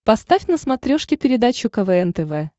поставь на смотрешке передачу квн тв